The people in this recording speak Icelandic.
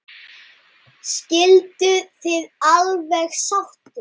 Skilduð þið alveg sáttir?